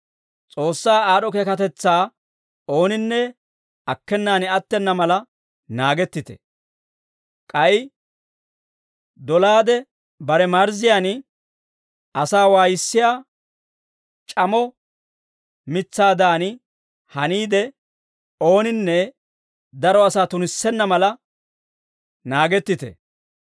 S'oossaa aad'd'o keekatetsaa ooninne akkenaan attena mala naagettite; k'ay dolaade, bare marzziyaan asaa waayissiyaa c'amo mitsaadan haniide, ooninne daro asaa tunissenna mala naagettite.